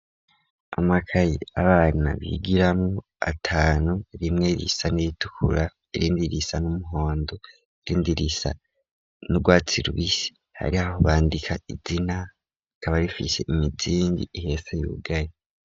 Amakayi abana bigiramwo atanu rimwe risa n'iritukura irindi irisa n'umuhondo irindirisa n'urwatsi lwisi hari aho bandika izina akaba rifishe imizingi ihese y'ugaye.